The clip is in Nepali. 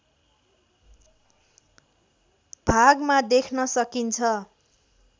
भागमा देख्न सकिन्छ